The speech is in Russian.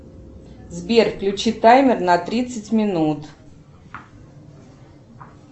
сбер включи таймер на тридцать минут